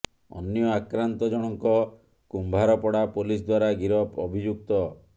ଅନ୍ୟ ଆକ୍ରାନ୍ତ ଜଣଙ୍କ କୁମ୍ଭାରପଡ଼ା ପୋଲିସ ଦ୍ୱାରା ଗିରଫ ଅଭିଯୁକ୍ତ